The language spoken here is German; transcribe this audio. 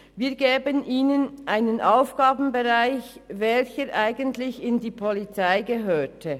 Wir geben ihnen damit einen Aufgabenbereich, der zur Polizei gehören würde.